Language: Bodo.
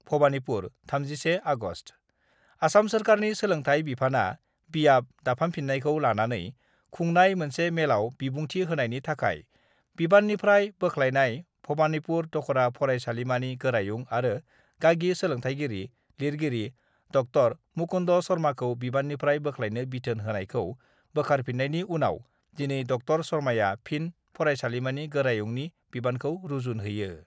भबानिपुर, 31 आगस्ट: आसाम सरकारनि सोलोंथाइ बिफाना बियाब दाफामफिन्नायखौ लानानै खुंनाय मोनसे मेलाव बिबुंथि होनायनि थाखाय बिबाननिफ्राय बोख्लायनाय भबानिपुर दख'रा फरायसालिमानि गोरायुं आरो गागि सोलोंथाइगिरि, लिरगिरि ङ मुकुन्द शर्माखौ बिबाननिफ्राय बोख्लायनो बिथोन होनायखौ बोखारफिन्नायनि उनाव दिनै ङ शर्माआ फिन फरायसालिमानि गोरायुंनि बिबानखौ रुजुनहैयो।